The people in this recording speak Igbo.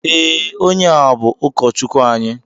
Ee, ónyé a bú ukọchukwu anyị.